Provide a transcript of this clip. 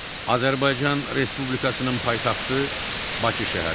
Azərbaycan Respublikasının paytaxtı Bakı şəhəridir.